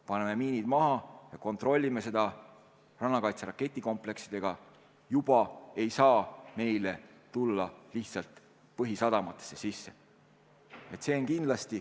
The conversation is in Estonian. Paneme miinid maha ja kontrollime seda rannakaitse raketikompleksidega – ja juba ei saa meile lihtsalt põhisadamatesse sisse sõita.